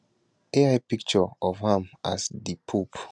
ai picture of am as di pope